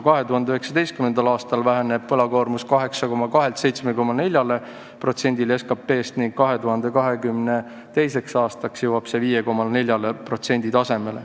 2019. aastal väheneb võlakoormus 8,2%-lt 7,4%-le SKP-st ning 2022. aastaks jõuab see tasemele 5,4%.